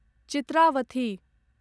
Chitravathi